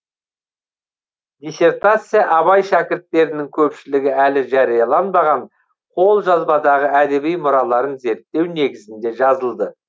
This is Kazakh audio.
диссертация абай шәкірттерінің көпшілігі әлі жарияланбаған қолжазбадағы әдеби мұраларын зерттеу негізінде жазылды